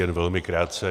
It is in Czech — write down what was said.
Jen velmi krátce.